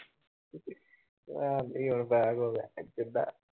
ਮੈਂ